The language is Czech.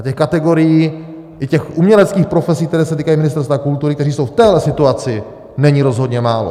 A těch kategorií, i těch uměleckých profesí, které se týkají Ministerstva kultury, které jsou v téhle situaci, není rozhodně málo.